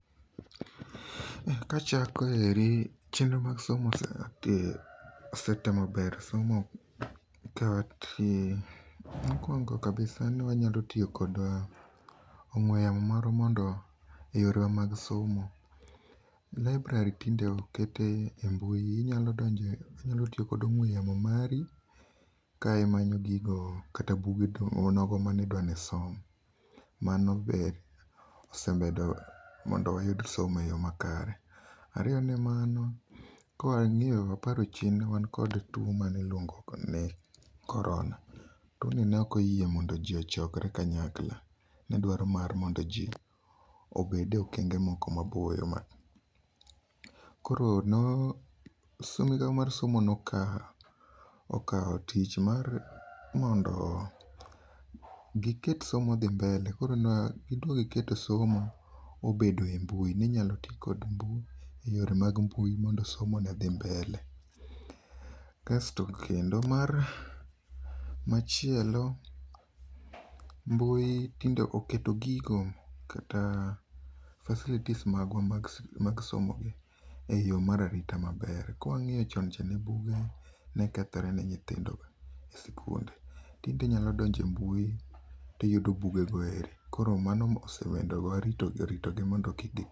Kachako eri, chenro mag somo osetemo bero somo ka mokuongo kabisa ne wanyalo tiyo kod ongwe yamo marwa e yore mag somo. Library tinde okete mbui, inyalo tiyo gi ongwe yamo mari ka imanyo gigo kata buge nogo midwani isom, mano be osemedo mondo wayud somo e yo makare. Ariyo ne mano, ka wangiyo, waparo chien ne wan kod tuo mane iluongo ni Corona, tuo ni neok oyie mondo jii ochokre kanyakla nedwaro mar mondo jii obede okenge moko maboyo. Koro migao mar somo nokao tich mar mondo giket somo odhi mbele, koro negidok giketo somo obedo e mbui, ninyalo tii kod yore mag mbui mondo somo odhi mbele. Kasto kendo machielo mbui, tinde oketo gigo kata facilities magwa mag somo gi e yoo mar arita maber, ka wangiyo chon cha buge ne kethore ne nyithindo e skul, tinde inyalo donjo e mbui tiyudo bugego eri. Koro mano osemedowa rito gi mondo kik